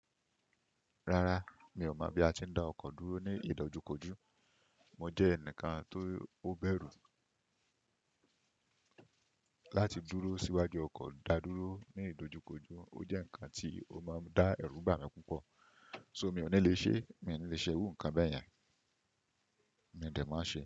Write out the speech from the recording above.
Rárá, mi ò mọ̀ bí a ti ń dá ọkọ̀ dúró ní ìdojúkojú. Mo jẹ́ ẹnìkan tó bẹ̀rù láti dúró síwájú ọkọ̀ dá dúró ní ìdojúkojú. Ó jẹ́ ǹkan tí ó máa ń dá ẹ̀rù bà mí púpọ̀. So mi ò ní lè ṣe, mi ò ní lè ṣe irú ǹkan bẹ́ẹ̀ yẹn, mi ò dè máa ṣe.